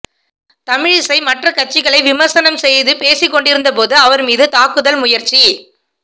தமிழிசை மற்ற கட்சிகளை விமர்சனம் செய்து பேசி கொண்டிருந்தபோது அவர் மீது தாக்குதல் முயற்சி